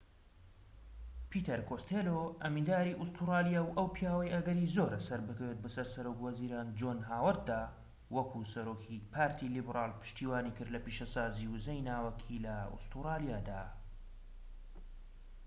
پیتەر کۆستێلۆ ئەمینداری ئوستورلیا و ئەو پیاوەی ئەگەری زۆرە سەربکەوێت بەسەر سەرۆک وەزیران جۆن هاوەرددا وەکو سەرۆکی پارتی لیبرال پشتیوانیکرد لە پیشەسازیی وزەی ناوەکی لە ئوستوڕالیادا